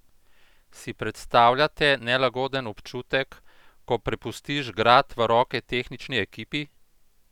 Si predstavljate nelagoden občutek, ko prepustiš grad v roke tehnični ekipi?